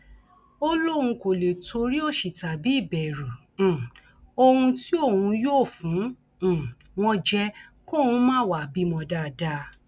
ó lóun kò lè torí òṣì tàbí ìbẹrù um ohun tí òun yóò fún um wọn jẹ kóun má wàá bímọ dáadáa